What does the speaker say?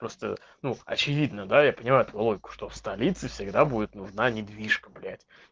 просто ну очевидно да я понимаю логику что в столице всегда будет нужна недвижка блять